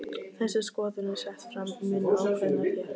Þessi skoðun er sett fram mun ákveðnar hér.